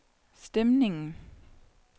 stemningen